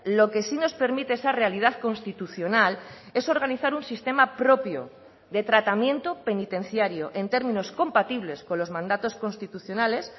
lo que sí nos permite esa realidad constitucional es organizar un sistema propio de tratamiento penitenciario en términos compatibles con los mandatos constitucionales